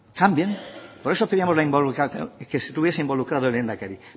cambien por eso pedíamos la involucración que estuviese involucrado el lehendakari